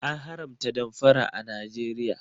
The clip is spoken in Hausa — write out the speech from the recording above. An haramta damfara a Najeriya